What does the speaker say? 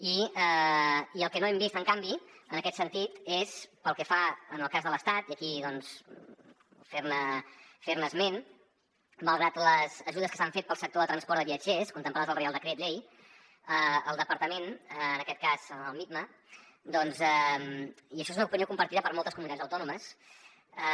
i el que no hem vist en canvi en aquest sentit és pel que fa al cas de l’estat i aquí doncs fer ne esment malgrat les ajudes que s’han fet per al sector de transport de viatgers contemplades al reial decret llei el departament en aquest cas el mitma i això és una opinió compartida per moltes comunitats autònomes